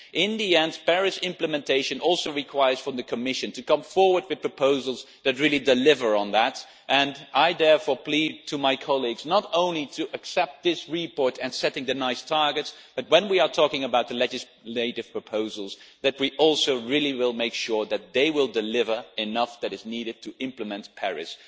In the end, Paris implementation also requires the Commission to come forward with proposals that really deliver on that, and I therefore plead to my colleagues not only to accept this report, setting nice targets, but when we are talking about legislative proposals that we also really will make sure that they will deliver on what is needed to implement Paris.